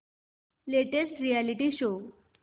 latest reality show